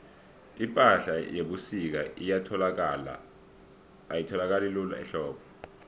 ipahla yebusika ayitholakali lula ehlobo